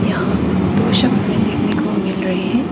यहां दो शख्स हमें देखने को मिल रहे हैं।